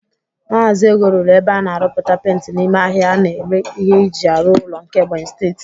Maazi Ego rụrụ ebe a na-arụpụta penti n'ime ahịa a na-ere ihe eji arụ ụlọ nke Ebonyi steeti.